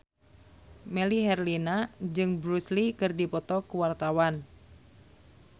Melly Herlina jeung Bruce Lee keur dipoto ku wartawan